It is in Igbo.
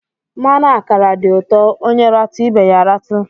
Mmanụ ákàrà dị ụtọ, ónyé ratu ibé ya ratu.